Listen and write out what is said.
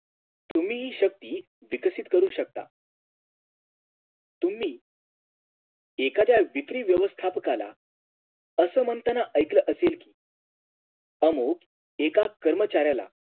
तुम्ही हि शक्ती विकसित करू शकता तुम्ही एखाद्या विकरी व्यवस्थापकाला असं म्हणताना ऐकलं असेल कि आमुक एका कर्मच्याराला